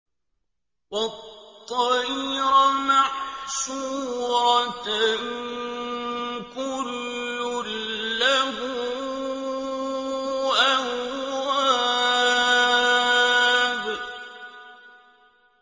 وَالطَّيْرَ مَحْشُورَةً ۖ كُلٌّ لَّهُ أَوَّابٌ